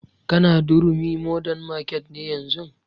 Ka na durumi modern market ne yanzun?